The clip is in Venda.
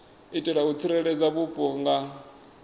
itela u tsireledza vhupo nga